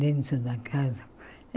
dentro da casa.